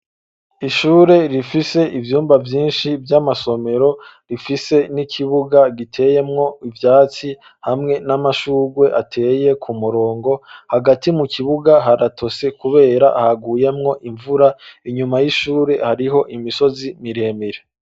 Ishure rifise ivyumba vyinshi vy'amasomero rifise n'ikibuga giteyemwo ivyatsi hamwe n'amashurwe. Ateye ku murongo hagati mu kibuga haratose kubera haguyemwo imvura inyuma y'ishure hariho imisozi miremire.